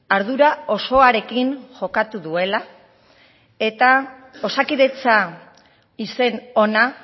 ardura osoarekin jokatu duela eta osakidetza izen ona